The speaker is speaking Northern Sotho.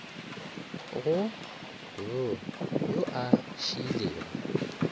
go b yo a šiilego